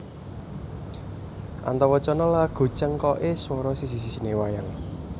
Antawacana lagu cengkoké swara siji sijiné wayang